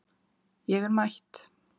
Ég er mætt